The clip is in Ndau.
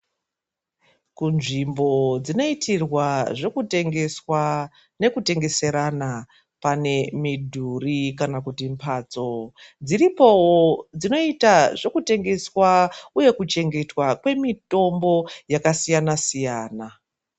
Kunzvimbo dzinoitirwa zvekutengeswa nekutengeserana pane midhuri kana kuti mhatso dziripowo dzinoita zvekutengeswa ,uye kuchengetwa kwemitombo yakasiyana-siyana.